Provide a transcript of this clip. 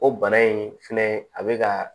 O bana in fɛnɛ a be ka